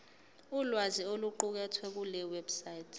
ulwazi oluqukethwe kulewebsite